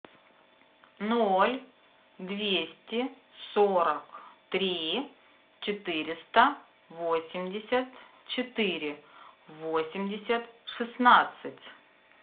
ноль двести сорок три четыреста восемьдесят четыре восемьдесят шестнадцать